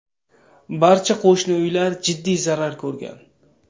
Barcha qo‘shni uylar jiddiy zarar ko‘rgan.